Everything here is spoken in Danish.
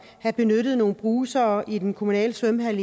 have benyttet nogle brusere i den kommunale svømmehal